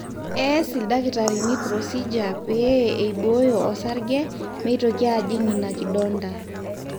ees ildakitarini procedure pee eibooyo osarge meitoki ajing ina kidonda